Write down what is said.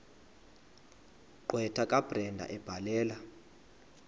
gqwetha kabrenda ebhalela